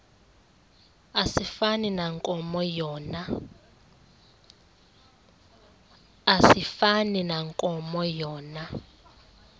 asifani nankomo yona